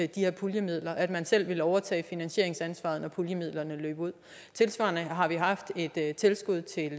de her puljemidler at man selv ville overtage finansieringsansvaret når puljemidlerne løb ud tilsvarende har vi haft et tilskud til